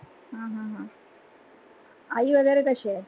हा हा हा आई वगैरे कशी आहे?